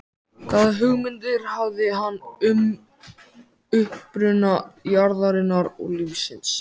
Hvaða hugmyndir hafði hann um uppruna jarðarinnar og lífsins?